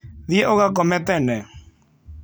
Thiĩ ũgakome tene